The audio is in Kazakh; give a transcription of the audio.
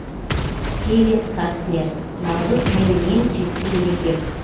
кевин кастнер наурыз менің ең сүйікті мерекем